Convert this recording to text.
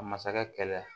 A masakɛ kɛlɛya